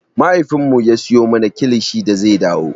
Mahaifinmu ya siyo mana kilishi da zai dawo.